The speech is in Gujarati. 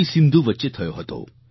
સિંધુ વચ્ચે થયો હતો